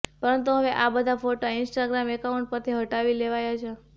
પરંતુ હવે આ બધા ફોટા ઈન્સ્ટાગ્રામ એકાઉન્ટ પરથી હટાવી લેવાયા છે